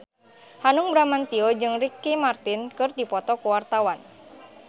Hanung Bramantyo jeung Ricky Martin keur dipoto ku wartawan